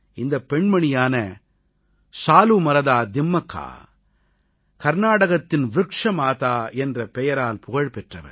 இந்தப் பெண்மணியான சாலூமரதா திம்மக்கா கர்நாடகத்தின் வ்ருக்ஷ மாதா என்ற பெயரால் புகழ் பெற்றவர்